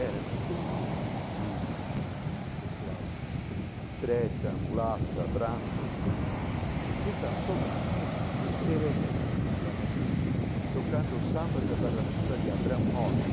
Era um conjunto de pessoal preta, mulata, brancos que estavam tocando música, fazendo seresta na Barra Funda, tocando sambas da Barra Funda de Abrão Moles,